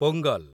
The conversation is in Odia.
ପୋଙ୍ଗଲ୍